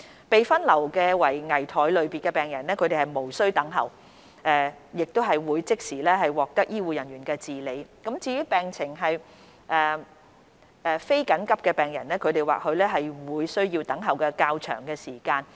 被分流為危殆類別的病人，他們無須等候，會即時獲得醫護人員治理。至於病情非緊急的病人，他們或會需要等候較長時間。